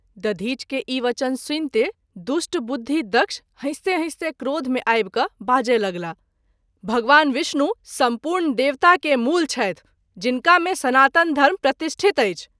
दधिच के ई वचन सुनिते दुष्ट बुद्धि दक्ष हँसिते-हँसिते क्रोध मे आबि क’ बाजय लागल- भगवान विष्णु सम्पूर्ण देवता के मूल छथि जनिका मे सनातन धर्म प्रतिष्ठित अछि।